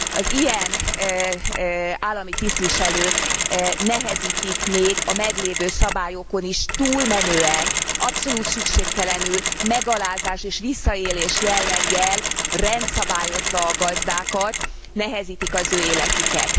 Az ilyen állami tisztviselők nehezítik még a meglévő szabályokon is túlmenően, abszolút szükségtelenül, megalázás és visszaélés jelleggel, rendszabályozva a gazdákat, nehezítik az ő életüket.